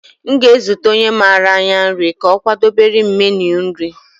M ga-ezute onye mara anya nri ka ọ kwadebere m meenu nri.